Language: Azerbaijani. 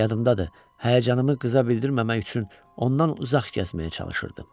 Yadımdadır, həyəcanımı qıza bildirməmək üçün ondan uzaq gəzməyə çalışırdım.